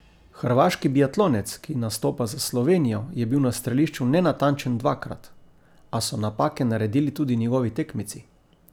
Hrvaški biatlonec, ki nastopa za Slovenijo, je bil na strelišču nenatančen dvakrat, a so napake naredili tudi njegovi tekmeci.